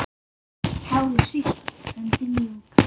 Hárið sítt, höndin mjúk.